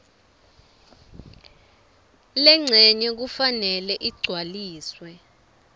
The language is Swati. lencenye kufanele igcwaliswe